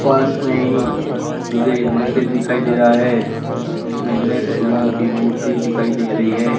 पास में ही मुझे एक मंदिर दिखाई दे रहा है जिसमें गणेश भगवान की मूर्ति दिखाई दे रही है।